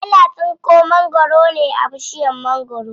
Ana tsinko mangwaro ne a bishiyar mangwaro.